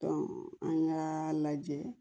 an k'a lajɛ